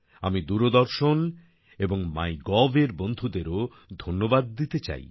আমি দূরদর্শন এবং MyGov এর বন্ধুদেরও ধন্যবাদ দিতে চাই